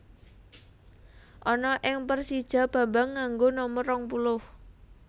Ana ing Persija Bambang nganggo nomer rong puluh